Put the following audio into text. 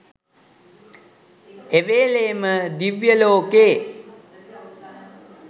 එවේලේම දිව්‍ය ලෝකෙ.